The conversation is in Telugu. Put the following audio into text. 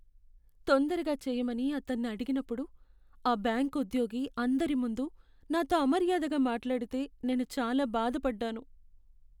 తొందరగా చెయ్యమని అతన్ని అడిగినప్పుడు, ఆ బ్యాంకు ఉద్యోగి అందరి ముందు నాతో అమర్యాదగా మాట్లాడితే నేను చాలా బాధ పడ్డాను.